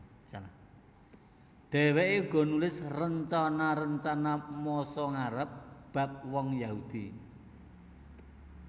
Dhèwèké uga nulis rencana rencana masa ngarep bab wong Yahudi